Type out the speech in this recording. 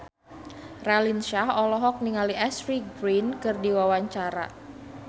Raline Shah olohok ningali Ashley Greene keur diwawancara